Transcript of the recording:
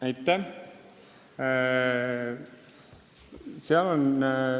Aitäh!